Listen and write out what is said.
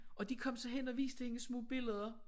Og de kom så hen og viste hende små billeder